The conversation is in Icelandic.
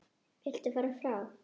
Viltu fara frá!